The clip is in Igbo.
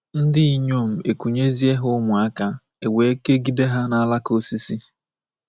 Ndị inyom ekunyezie ha ụmụaka, e wee kegide ha n’alaka osisi.